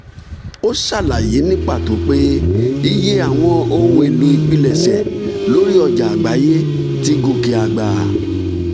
ó ṣàlàyé ní pàtó pé iye àwọn ohun èlò ìpilẹ̀ṣẹ̀ lórí ọjà àgbáyé ti gòkè àgbà.